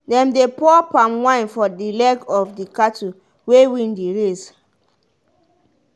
dem dey pour palm wine for the leg of the cattle wey win the race